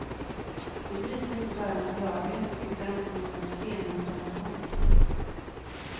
De bryter inte bara mot lagen utan också mot en stenhård konvention.